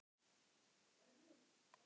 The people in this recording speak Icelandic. Bjarnsteinn, er opið í Háskólanum á Akureyri?